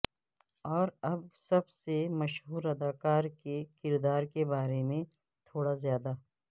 اور اب سب سے مشہور اداکار کے کردار کے بارے میں تھوڑا زیادہ